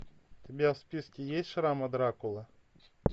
у тебя в списке есть шрамы дракулы